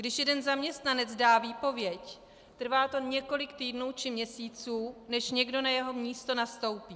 Když jeden zaměstnanec dá výpověď, trvá to několik týdnů či měsíců, než někdo na jeho místo nastoupí.